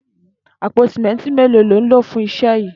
Àpó simẹntí méló ló n ló fùn iṣẹ yi?